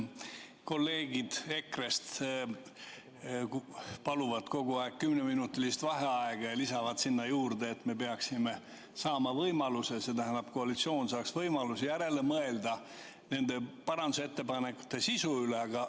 Kolleegid EKRE-st paluvad kogu aeg kümneminutilist vaheaega ja lisavad, et koalitsioon peaks saama võimaluse nende parandusettepanekute sisu üle järele mõelda.